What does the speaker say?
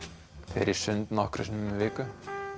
fer í sund nokkrum sinnum í viku